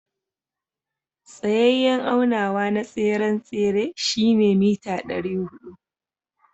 Tsayayen aunawa na tseren tsere shine meter dari hudu.